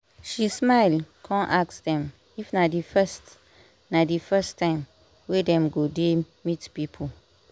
she smile come ask dem if na the first na the first time wey dem go dey meet people